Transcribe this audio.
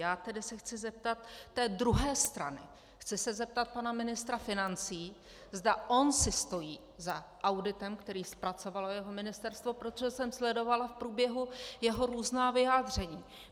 Já se tedy chci zeptat té druhé strany, chci se zeptat pana ministra financí, zda on si stojí za auditem, který zpracovalo jeho ministerstvo, protože jsem sledovala v průběhu jeho různá vyjádření.